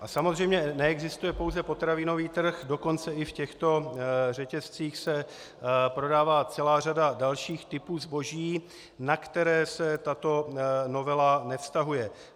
A samozřejmě neexistuje pouze potravinový trh, dokonce i v těchto řetězcích se prodává celá řada dalších typů zboží, na které se tato novela nevztahuje.